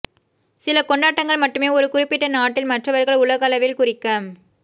சில கொண்டாட்டங்கள் மட்டுமே ஒரு குறிப்பிட்ட நாட்டில் மற்றவர்கள் உலகளவில் குறிக்க